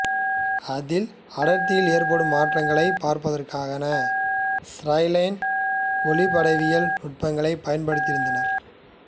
அதில் அடர்த்தியில் ஏற்படும் மாற்றங்களைப் பார்ப்பதற்கான ஷ்லைரென் ஒளிப்படவியல் நுட்பங்களை பயன்படுத்தியிருந்தார்